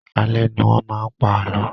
Alẹ́ ní wọn máa ń pa àlọ́